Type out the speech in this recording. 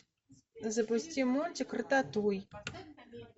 запусти мультик рататуй